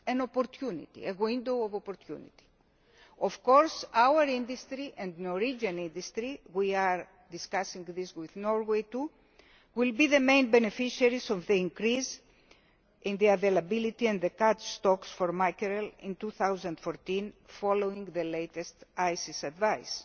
An opportunity, a window of opportunity. Of course our industry and the Norwegian industry we are discussing this with Norway too will be the main beneficiaries of the increase in the availability and the catch stocks for mackerel in 2014 following the latest ICES advice.